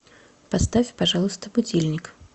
поставь пожалуйста будильник